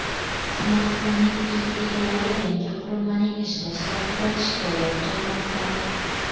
Smartfonning ilk egalari yangi qurilmaning ishlash vaqtidan shikoyat qilmoqda.